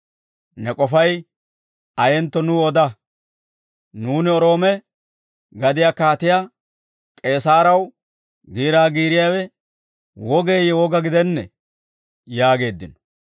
Ne k'ofay ayentto nuw oda; nuuni Roome gadiyaa Kaatiyaa K'eesaarew giiraa giiriyaawe wogeeyye woga gidennee?» yaageeddino.